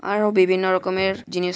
আরো বিভিন্ন রকমের জিনিস --